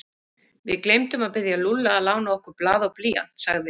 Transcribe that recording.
Við gleymdum að biðja Lúlla að lána okkur blað og blýant sagði